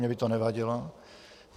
Mně by to nevadilo.